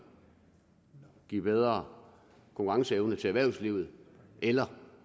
give bedre konkurrenceevne til erhvervslivet eller